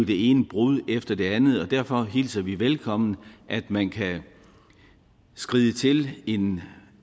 det ene brud efter det andet og derfor hilser vi velkommen at man kan skride til en